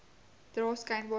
dra skynbaar almal